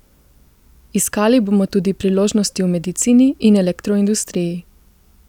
Iskali bomo tudi priložnosti v medicini in elektroindustriji.